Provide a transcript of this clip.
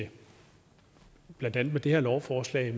blandt andet med det her lovforslag